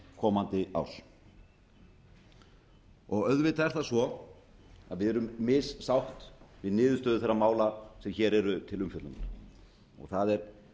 komandi árs auðvitað er það svo að við erum missátt við niðurstöðu þeirra mála sem hér eru til umfjöllunar það er